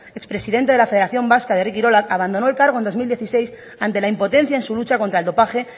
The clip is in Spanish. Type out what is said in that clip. ex presidente de federación vasca de herri kirolak abandonó el cargo en dos mil dieciséis ante la impotencia en su lucha contra el dopaje